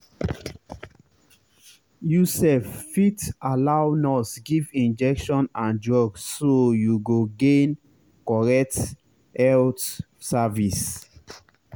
you sef fit allow nurse give injection and drugs so you go gain correct health service.